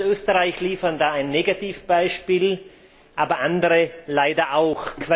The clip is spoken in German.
Deutschland und Österreich liefern da ein Negativbeispiel, aber andere leider auch.